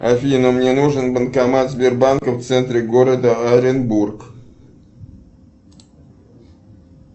афина мне нужен банкомат сбербанка в центре города оренбург